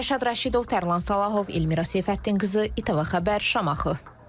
Rəşad Rəşidov, Tərlan Salahov, Elmira Seyfəddin qızı, İTV Xəbər, Şamaxı.